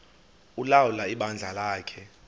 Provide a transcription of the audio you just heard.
ulawula ibandla lakhe